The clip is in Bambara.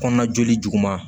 Kɔnɔna joli juguman